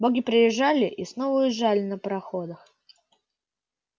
боги приезжали и снова уезжали на пароходах